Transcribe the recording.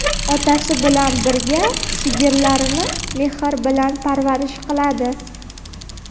Otasi bilan birga sigirlarini mehr bilan parvarish qiladi.